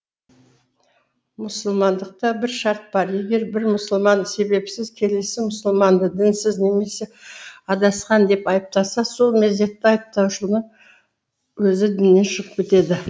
мұсылмандықта бір шарт бар егер бір мұсылман себепсіз келесі мұсылманды дінсіз немесе адасқан деп айыптаса сол мезетте айыптаушының өзі діннен шығып кетеді